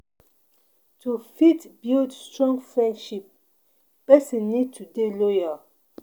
To fit build strong friendships person need to dey loyal